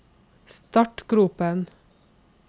startgropen